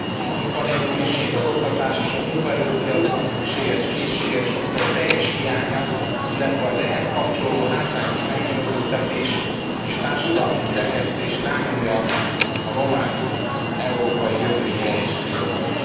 A munkanélküliség, az oktatás és a munkaerőpiacon szükséges készségek sokszor teljes hiánya, illetve az ehhez kapcsolódó hátrányos megkülönböztetés és társadalmi kirekesztés rányomja a romák európai jövőjére is a bélyegét.